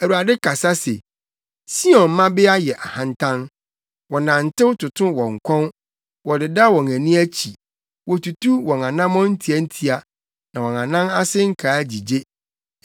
Awurade kasa se, “Sion mmabea yɛ ahantan; wɔnantew toto wɔn kɔn, wɔdeda wɔn ani akyi, wotutu wɔn anammɔn ntiantia, na wɔn anan ase nkaa gyigye.